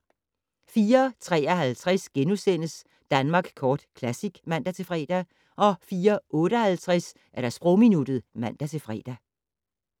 04:53: Danmark Kort Classic *(man-fre) 04:58: Sprogminuttet (man-fre)